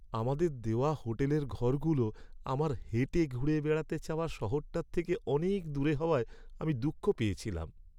আমাদের দেওয়া হোটেলের ঘরগুলো আমার হেঁটে ঘুরে বেড়াতে চাওয়া শহরটার থেকে অনেক দূরে হওয়ায় আমি দুঃখ পেয়েছিলাম।